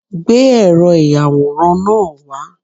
Gbé ẹ̀rọ ìyàwòrán náà wá